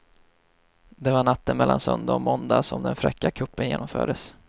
Det var natten mellan söndag och måndag som den fräcka kuppen genomfördes.